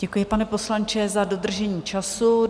Děkuji, pane poslanče, za dodržení času.